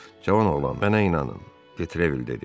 Cavan oğlan, mənə inanın, detrevil dedi.